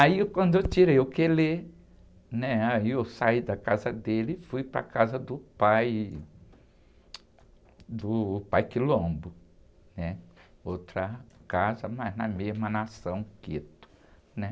Aí, quando eu tirei o quelé, né? Aí da casa dele e fui para a casa do pai, do pai, outra casa, mas na mesma nação, Quetu.